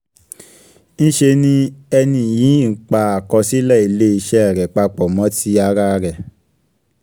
ńṣe ni ẹni yìí ń pa àkọsílẹ̀ ilé iṣẹ́ rẹ̀ papọ̀ mọ ti ara rẹ̀.